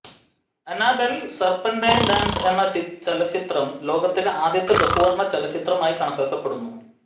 Annabelle serpentine dance എന്ന ചലച്ചിത്രം ലോകത്തിലെ ആദ്യത്തെ ബഹുവർണ ചലച്ചിത്രമായി കണക്കാക്കപ്പെടുന്നു